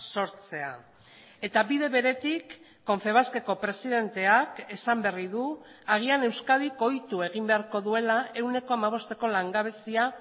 sortzea eta bide beretik confebaskeko presidenteak esan berri du agian euskadik ohitu egin beharko duela ehuneko hamabosteko langabezia